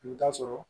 I bɛ taa sɔrɔ